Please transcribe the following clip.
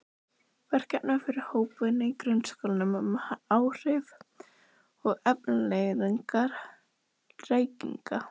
Verkefni fyrir hópvinnu í grunnskólum um áhrif og afleiðingar reykinga.